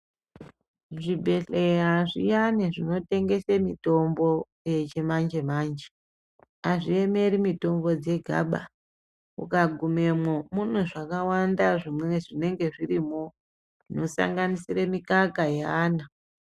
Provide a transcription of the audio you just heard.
Zvibhehleya zviyani zvinotengese mitombo yechimanjemanje azviemeri mitombo dzegaba ukagumemwo mune zvakawanda zvinenge zvirimo zvinosanganisire mikaka yeana.